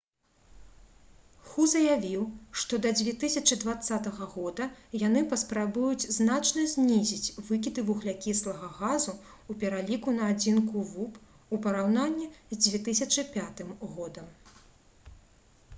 ху заявіў «што да 2020 года яны паспрабуюць значна знізіць выкіды вуглякіслага газу ў пераліку на адзінку вуп у параўнанні з 2005 г»